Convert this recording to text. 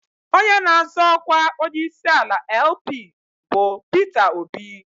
Onye na-azọ ọkwa onyeisiala LP bụ Peter Obi.